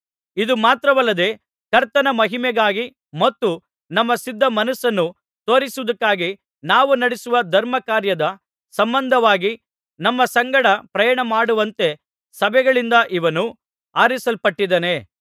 ಇದು ಮಾತ್ರವಲ್ಲದೆ ಕರ್ತನ ಮಹಿಮೆಗಾಗಿ ಮತ್ತು ನಮ್ಮ ಸಿದ್ಧ ಮನಸ್ಸನ್ನು ತೋರಿಸುವುದಕ್ಕಾಗಿ ನಾವು ನಡಿಸುವ ಧರ್ಮಕಾರ್ಯದ ಸಂಬಂಧವಾಗಿ ನಮ್ಮ ಸಂಗಡ ಪ್ರಯಾಣಮಾಡುವಂತೆ ಸಭೆಗಳಿಂದ ಇವನು ಆರಿಸಲ್ಪಟ್ಟಿದ್ದಾನೆ